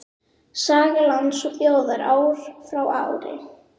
Saga lands og þjóðar ár frá ári.